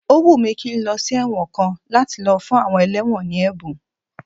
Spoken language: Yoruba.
Ó wùn mí kí n lọ sí ẹ̀wọ̀n kan láti lọ fún àwọn ẹlẹ́wọ̀n ní ẹ̀bùn